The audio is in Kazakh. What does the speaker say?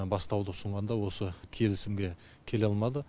бастауды ұсынғанда осы келісімге келе алмады